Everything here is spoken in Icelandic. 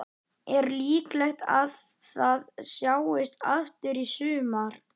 Er líklegt að það sjáist aftur í sumar?